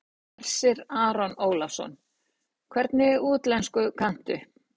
Hersir Aron Ólafsson: Hvernig útlensku kanntu?